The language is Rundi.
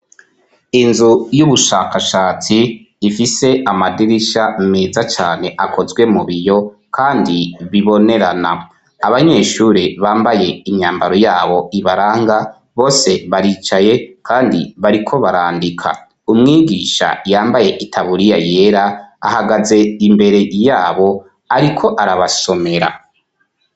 Inzu yubushakashatsi ifise amadirisha meza cane akozwe mu biyo kandi bibonerana abanyeshuri bambaye imyambaro yabo ibaranga bose baricaye kandi bariko barandika umwigisha yambaye itaburiya yera ahagaze imbere yabo ariko arabasomera.